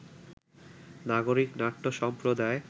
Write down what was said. নাগরিক নাট্য সম্প্রদায়